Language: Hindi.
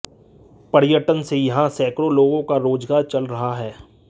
पर्यटन से यहां सैकड़ों लोगों का रोजगार चल रहा है